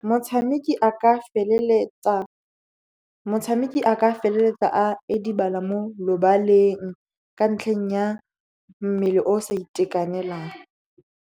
Motshameki a ka feleletsa a idibala mo lebaleng, ka ntlheng ya mmele o o sa itekanelang.